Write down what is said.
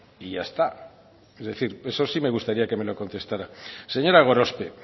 y ya está es decir eso sí me gustaría que me lo contestará señora gorospe